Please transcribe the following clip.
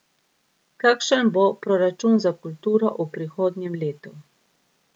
Kakšen bo proračun za kulturo v prihodnjem letu?